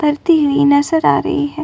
तरती हुई नजर आ रही है।